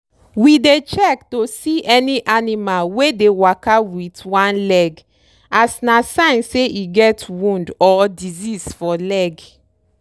we dey check to see any animal wey dey waka wit one leg as na sign say e get wound or disease for leg.